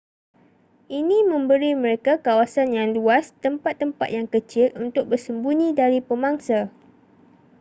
ini memberi mereka kawasan yang luas tempat-tempat yang kecil untuk bersembunyi dari pemangsa